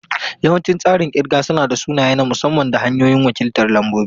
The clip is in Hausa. Yawancin tsarin kirga suna da sunaye na musamman da hanyoyin wakiltar lambobi.